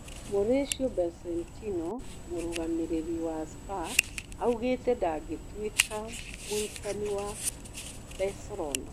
Mũrĩcĩũ Bocetino mũrũgamĩrĩri wa Spa augĩte ndangĩtuĩka mũrutani wa Bacerona.